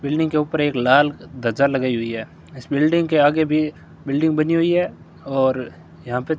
building के ऊपर एक लाल ध्वजा लगाई हुई है इस बिल्डिंग के आगे भी बिल्डिंग बनी हुई है और यहां पे --